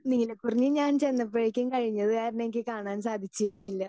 Speaker 2 നീലക്കുറിഞ്ഞി ഞാൻ ചെന്നപ്പോഴേക്കും കഴിഞ്ഞത് കാരണം എനിക്ക് കാണാൻ സാധിച്ചിരുന്നില്ല.